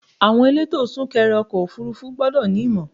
Àwọn elétò sún kẹrẹ ọkọ̀ òfúrúfú gbọ́dọ̀ ní ìmọ̀.